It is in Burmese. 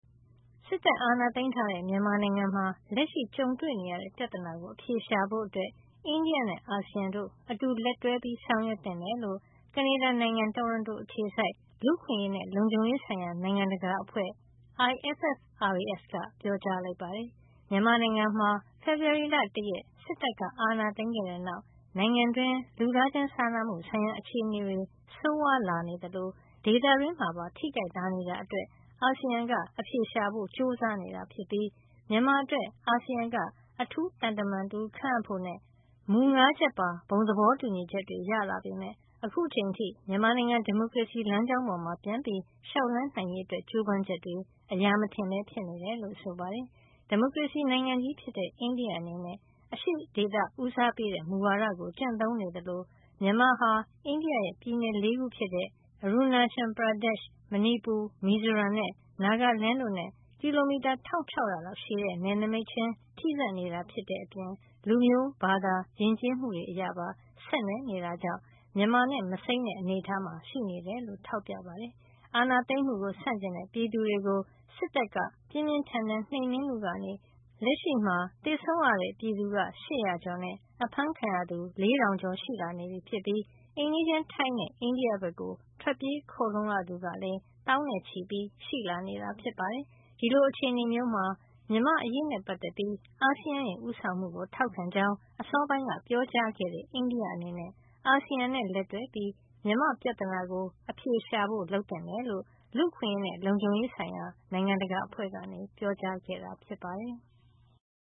စစ်တပ်အာဏာသိမ်းထားတဲ့ မြန်မာနိုင်ငံမှာ လက်ရှိကြုံတွေ့နေရတဲ့ ပြဿနာကို အဖြေရှာဖို့ အိန္ဒိယနဲ့ အာဆီယံတို့ အတူလက်တွဲဆောင်ရွက်သင့်တယ်လို့ ကနေဒါနိုင်ငံ တိုရွန်တို အခြေစိုက် လူ့အခွင့်အရေးနဲ့ လုံခြုံရေးဆိုင်ရာ နိုင်ငံတကာ အဖွဲ့ (International Forum for Rights and Security) IFFRAS က ပြောကြားလိုက်ပါတယ်။ မြန်မာနိုင်ငံမှာ ဖေဖေါ်ဝါရီလ ၁ ရက် စစ်တပ်အာဏာသိမ်းခဲ့တဲ့နောက်မှာ နိုင်ငံတွင်း လူသားချင်းစာနာမှုဆိုင်ရာ အခြေနေဆိုးဝါးလာနေသလို ဒေသတွင်းမှာပါ ထိခိုက်လာနေတာအတွက် အာဆီယံက အဖြေရှာဖို့ ကြိုးစားနေတာ ဖြစ်ပြီး မြန်မာအတွက် အာဆီယံက အထူးသံတမန်ခန့်ဖို့နဲ့ မူ ၅ ချက်ပါ ဘုံသဘောတူညီချက်တွေ ရလာပေမယ့် အခုထိ မြန်မာနိုင်ငံ ဒီမိုကရေစီလမ်းကြောင်းပေါ် ပြန်ပြီး လျှောက်လှမ်းနိုင်ရေး ကြိုးပမ်းချက်တွေ အရာမထင်ပဲ ဖြစ်နေတယ်လို့ ဆိုပါတယ်။ ဒီမိုကရေစီနိုင်ငံကြီး ဖြစ်တဲ့ အိန္ဒိယအနေနဲ့ အရှေ့ဒေသဦးစားပေးတဲ့ မူဝါဒကို ကျင့်သုံးနေသလို မြန်မာဟာ အိန္ဒိယရဲ့ ပြည်နယ် ၄ ခုဖြစ်တဲ့ Arunachal Pradesh မဏီပူ၊ မီဇိုရမ်နဲ့ နာဂလန်း တို့နဲ့ ကီလိုမီတာ ၁၆၀၀ လောက် ရှည်တဲ့နယ်နိမိတ်ချင်းထိစပ်နေတဲ့အပြင် လူမျိုး၊ ဘာသာ၊ ယဉ်ကျေးမှုတွေပါ ဆက်နွယ်နေတာကြောင့် မြန်မာနဲ့ မစိမ်းတဲ့အနေထားမှာ ရှိနေတယ်လို့ ထောက်ပြပါတယ်။ အာဏာသိမ်းမှုဆန့်ကျင်တဲ့ ပြည်သူတွေကို စစ်တပ်က ပြင်းပြင်းထန်ထန် နှိမ်နင်းမှုကနေ လက်ရှိမှာ သေဆုံးရတဲ့ ပြည်သူ ၈၀၀ ကျော်နဲ့ အဖမ်းခံရသူ ၄၀၀၀ ကျော်ရှိ လာနေပြီး အိမ်နီးချင်း ထိုင်းနဲ့ အိန္ဒိယဘက် ထွက်ပြေးခိုလှုံရသူကလည်း သောင်းနဲ့ချီရှိလာနေတာ ဖြစ်ပါတယ်။ ဒီလို အခြေနေမှာ မြန်မာ့အရေးနဲ့ပတ်သက်ပြီး အာဆီယံရဲ့ ဦးဆောင်မှုကို ထောက်ခံကြောင်း အစောပိုင်းက ပြောကြားခဲ့တဲ့ အိန္ဒိယအနေနဲ့ အာဆီယံနဲ့ လက်တွဲပြီး မြန်မာ့ပြဿနာကို အဖြေရှာဖို့ လုပ်သင့်တယ်လို့ လူ့အခွင့်ရေးနဲ့ လုံခြုံရေးဆိုင်ရာ နိုင်ငံတကာအဖွဲ့က ပြောကြားခဲ့တာ ဖြစ်ပါတယ်။